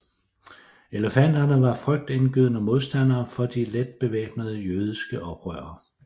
Elefanterne var frygtindgydende modstandere for de let bevæbnede jødiske oprørere